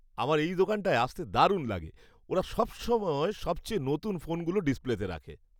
আমার এই দোকানটায় আসতে দারুণ লাগে। ওরা সবসময় সবচেয়ে নতুন ফোনগুলো ডিসপ্লেতে রাখে।